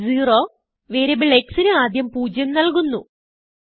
x0variable xന് ആദ്യം പൂജ്യം നല്കുന്നു